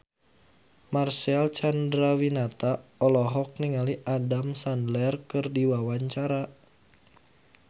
Marcel Chandrawinata olohok ningali Adam Sandler keur diwawancara